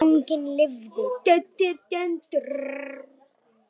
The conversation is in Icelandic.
Fanginn lifði.